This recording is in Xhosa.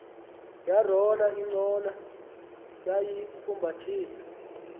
yarola ingcola yayifumbathisa